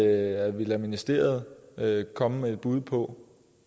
at vi lader ministeriet komme med et bud på